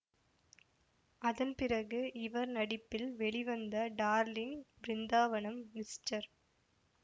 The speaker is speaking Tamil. அதன்பிறகு இவர் நடிப்பில் வெளிவந்த டார்லிங்க் பிருந்தாவனம் மிஸ்டர்